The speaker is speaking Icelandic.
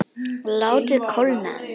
Látið kólna aðeins.